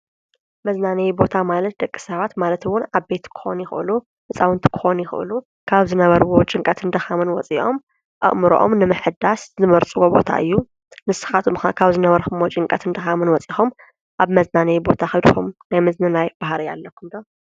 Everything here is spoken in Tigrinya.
መዝናነይ ቦታማለት ደቂ ሰባት ማለት ውን ዓበይቲ ክኾኑ ይኽእሉ፣ ህፃውንቲ ክኾኑ ይኽእሉ ካብ ዝነበሩዎ ጭንቀትን ድኻምን ወፂኦም ኣእምሮም ንምሕዳስ ዝመርፅዎ ቦታ እዩ፡፡ ንስኻትኩም ኸ ካብ ዝነበርኩምዎ ጭንቀትን ድኻምን ወፂኹም ኣብ መዝናነይ ቦታ ኸይድኩም ናይ ምዝንናይ ባህሪ ኣለኩም ዶ?